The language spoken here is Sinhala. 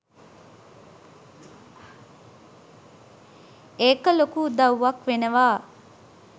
ඒක ලොකු උදව්වක් වෙනවා